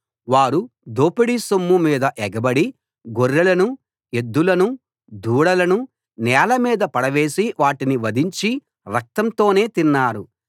వారు దోపిడీ సొమ్ము మీద ఎగబడి గొర్రెలను ఎద్డులను దూడలను నేలమీద పడవేసి వాటిని వధించి రక్తంతోనే తిన్నారు